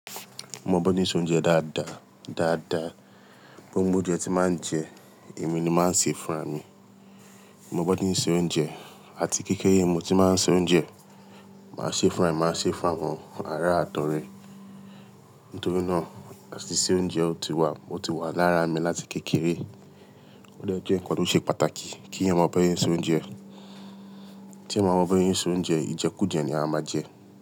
Mo mọ bọ ṣe n se oúnjẹ dáadáa, dáadáa. Gbo gbo oúnjẹ tí màá ń jẹ, èmi ni màá se funra mi. Mo bọ ṣe n ṣe oúnjẹ àti kékere mo tí màá ń se oúnjẹ, màá ṣe é fún ara èmi, màá ṣe é fún àwọn ará àt'ọrẹ. Nítorí náà, àtìse oúnjẹ ò tí wa, o ti wà lára mi láti kékeré. O dẹ jẹ́ nǹkan tó ṣe pàtàkì kí eyan mọ bí ọ ṣe ń se oúnjẹ. Tí ẹẹ́ ba mọ bí ẹ ṣe ń se oúnjẹ, ìjẹkújẹ ni a máa jẹ.